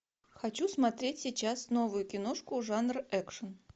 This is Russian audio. хочу смотреть сейчас новую киношку жанр экшн